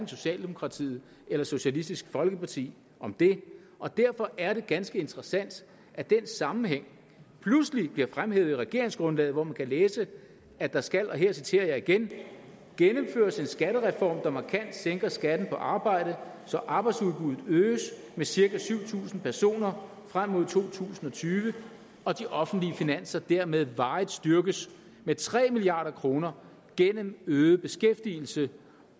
socialdemokratiet eller socialistisk folkeparti om det og derfor er det ganske interessant at den sammenhæng pludselig bliver fremhævet i regeringsgrundlaget hvor man kan læse at der skal og her citerer jeg igen skattereform der markant sænker skatten på arbejde så arbejdsudbuddet øges med cirka syv tusind personer frem mod to tusind og tyve og de offentlige finanser dermed varigt styrkes med tre milliard kroner gennem øget beskæftigelse